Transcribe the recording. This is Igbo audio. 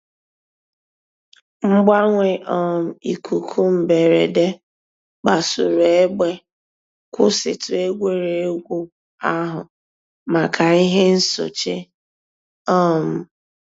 Mgbanwe um íkúkụ̀ mbèrèdè kpasùrù ègbè, kwụsị̀tù ègwè́ré́gwụ̀ àhụ̀ mǎká íhè nsòché. um